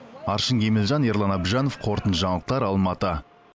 аршын кемелжан ерлан әбжанов қорытынды жаңалықтар алматы